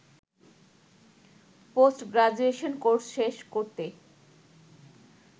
post graduation course শেষ করতে